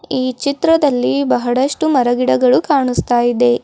ಈ ಚಿತ್ರದಲ್ಲಿ ಬಹಳಷ್ಟು ಮರಗಿಡಗಳು ಕಾಣುಸ್ತಾ ಇದೆ.